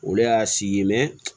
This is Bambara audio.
Olu y'a si ye